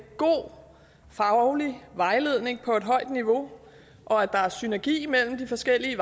god faglig vejledning på et højt niveau og at der er synergi mellem de forskellige